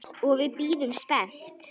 Og við bíðum spennt.